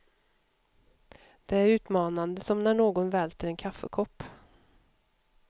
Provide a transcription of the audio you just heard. Det är utmanande som när någon välter en kaffekopp.